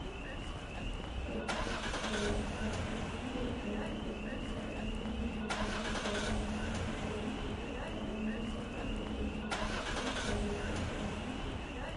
ሕውስውስ ዝበለ ባህላዊ ክዳውንቲ ይርአ ኣሎ፡፡ እዚ ኣከዳድና ንህብረ ብሄራውነትና ዝገልፅ እዩ፡፡ ኣፈላለና ፅባቐና እዩ ዝብል ጭርሆ ነዚ ይገልፆ ዶ ይኾን?